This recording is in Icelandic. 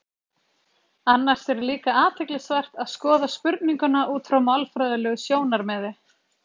Annars er líka athyglisvert að skoða spurninguna út frá málfræðilegu sjónarmiði.